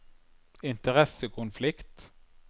interessekonflikt